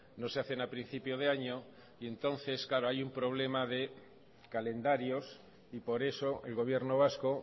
no se hacen a principio de año y entonces hay un problema de calendarios y por eso el gobierno vasco